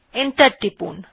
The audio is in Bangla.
এন্টার টিপুন